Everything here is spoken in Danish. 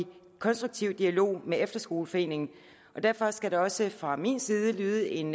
konstruktiv dialog med efterskoleforeningen derfor skal der også fra min side lyde en